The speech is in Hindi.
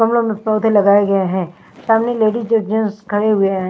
गमलों में पौधे लगाए गए हैं सामने लेडीज ज जेन्स खड़े हुए हैं।